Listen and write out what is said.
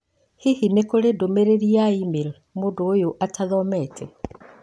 Hihi nĩ kũrĩ ndũmĩrĩri ya e-mail mũndũ ũyũ atathomete?